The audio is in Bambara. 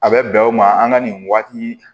A bɛ bɛn o ma an ka nin waati